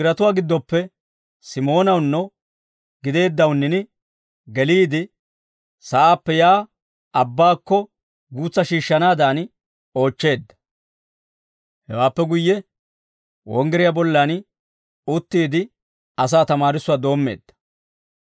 Yesuusi wonggiratuwaa giddoppe Simoonawunno gideeddawunnin geliide sa'aappe yaa abbaakko guutsaa shiishshanaadan oochcheedda. Hewaappe guyye wonggiriyaa bollan uttiide asaa tamaarissuwaa doommeedda.